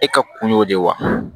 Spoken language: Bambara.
E ka kun y'o de ye wa